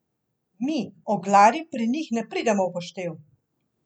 Mi, oglarji pri njih ne pridemo v poštev.